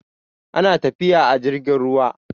ana tafiya a jirgin ruwa